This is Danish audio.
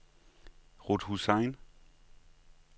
Ruth Hussain